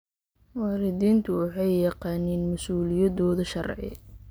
Waalidiintu waxay yaqaaniin mas'uuliyadooda sharci.